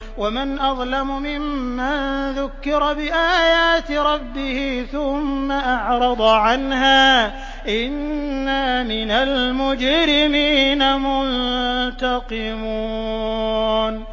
وَمَنْ أَظْلَمُ مِمَّن ذُكِّرَ بِآيَاتِ رَبِّهِ ثُمَّ أَعْرَضَ عَنْهَا ۚ إِنَّا مِنَ الْمُجْرِمِينَ مُنتَقِمُونَ